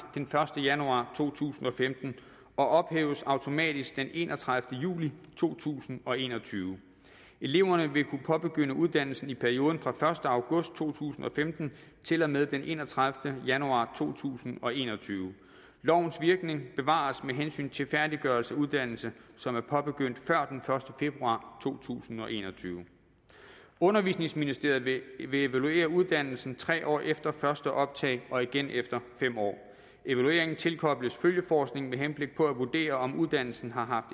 den første januar to tusind og femten og ophæves automatisk den enogtredivete juli to tusind og en og tyve eleverne vil kunne påbegynde uddannelsen i perioden fra den første august to tusind og femten til og med den enogtredivete januar to tusind og en og tyve lovens virkning bevares med hensyn til færdiggørelse af uddannelse som er påbegyndt før den første februar to tusind og en og tyve undervisningsministeriet vil vil evaluere uddannelsen tre år efter første optag og igen efter fem år evalueringen tilkobles følgeforskning med henblik på at vurdere om uddannelsen har